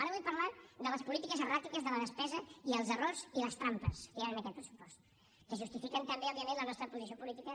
ara vull parlar de les polítiques erràtiques de la despesa i els errors i les trampes que hi han en aquest pressupost que en justifiquen també òbviament la nostra posició política